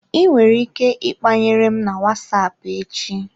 I nwere ike ikpanyere m na WhatsApp echi.